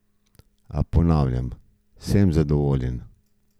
A ponavljam, sem zadovoljen.